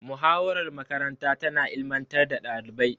Muhawarar makaranta tana ilimantar da ɗalibai.